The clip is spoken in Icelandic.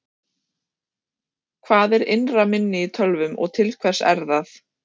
hvað er innra minni í tölvum og til hvers er það